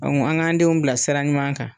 an ŋ'an denw bila sira ɲuman kan.